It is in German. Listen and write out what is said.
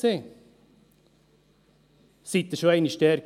Waren Sie schon einmal dort?